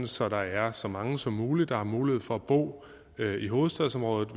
så der er så mange som muligt der har mulighed for at bo i hovedstadsområdet